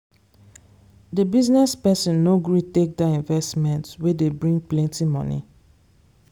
the business person no gree take that investment wey dey bring plenty money.